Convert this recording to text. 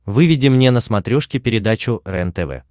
выведи мне на смотрешке передачу рентв